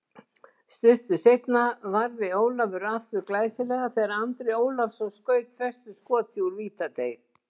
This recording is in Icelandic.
Stuttu seinna varði Ólafur aftur glæsilega þegar Andri Ólafsson skaut föstu skoti úr vítateig.